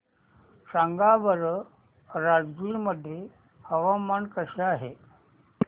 सांगा बरं राजगीर मध्ये हवामान कसे आहे